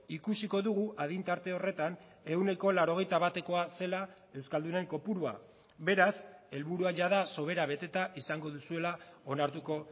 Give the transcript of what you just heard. ikusiko dugu adin tarte horretan ehuneko laurogeita batekoa zela euskaldunen kopurua beraz helburua jada sobera beteta izango duzuela onartuko